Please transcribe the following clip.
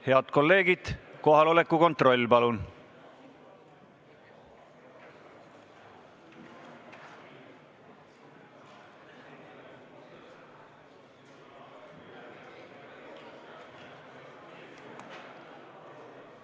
Head kolleegid, kohaloleku kontroll, palun!